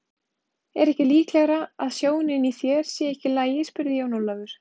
Er ekki líklegara að sjónin í þér sé ekki í lagi spurði Jón Ólafur.